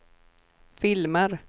filmer